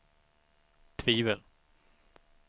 tvivel